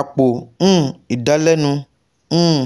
apo um idalẹnu um